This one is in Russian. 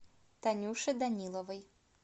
танюше даниловой